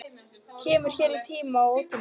Kemur hér í tíma og ótíma.